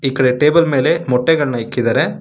ಈಕಡೆ ಟೇಬಲ್ ಮೇಲೆ ಮೊಟ್ಟೆಗಳನ್ನ ಇಕ್ಕಿದಾರೆ.